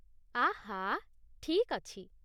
ଆଃ! ଠିକ୍ ଅଛି।